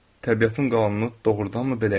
Təbiətin qanunu doğrudanmı belə imiş?